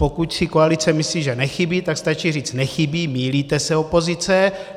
Pokud si koalice myslí, že nechybí, tak stačí říct: Nechybí, mýlíte se, opozice.